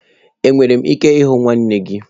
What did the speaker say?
Enwere m ike ịhụ nwanne gị?